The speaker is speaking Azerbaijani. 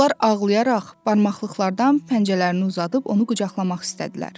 Onlar ağlayaraq barmaqlıqlardan pəncələrini uzadıb onu qucaqlamaq istədilər.